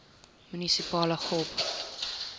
munisipale gop